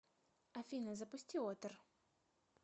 афина запусти отр